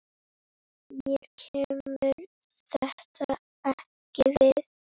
Mér kemur þetta ekkert við.